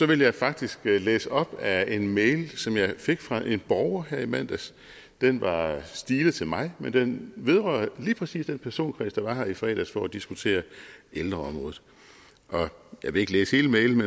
vil jeg faktisk læse op af en mail som jeg fik fra en borger her i mandags den var stilet til mig men den vedrører lige præcis den personkreds der var her i fredags for at diskutere ældreområdet jeg vil ikke læse hele mailen